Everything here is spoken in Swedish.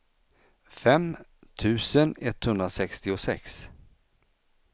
fem tusen etthundrasextiosex